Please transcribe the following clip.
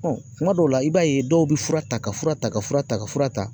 kuma dɔw la, i b'a ye dɔw be fura ta ka fura ta ka fura ta ka fura ta